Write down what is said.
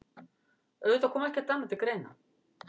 Auðvitað kom ekkert annað til greina.